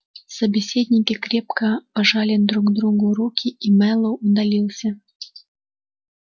собеседники крепко пожали друг другу руки и мэллоу удалился